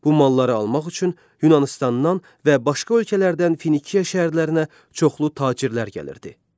Bu malları almaq üçün Yunanıstandan və başqa ölkələrdən Finiya şəhərlərinə çoxlu tacirlər gəlirdi.